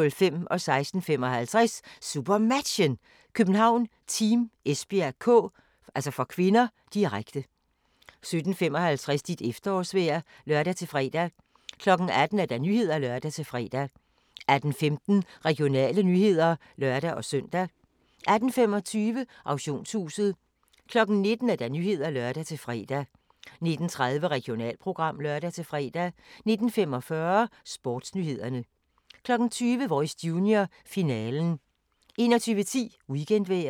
16:55: SuperMatchen: København-Team Esbjerg (k), direkte 17:55: Dit efterårsvejr (lør-fre) 18:00: Nyhederne (lør-fre) 18:15: Regionale nyheder (lør-søn) 18:25: Auktionshuset 19:00: Nyhederne (lør-fre) 19:30: Regionalprogram (lør-fre) 19:45: Sportsnyhederne 20:00: Voice Junior – finalen 21:10: Weekendvejret